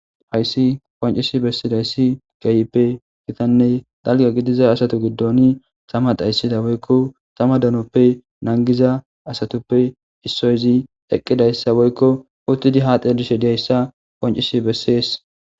Haysi qonc'isi bessidaysi kehipe gitane dalga gidiza asatu gidoni tama dhayssida woykko tama danoppe nangiza asatuppe issoyi eqidaysa woyko utidi haaxe dhelishe diyaysa qonc'isi beses.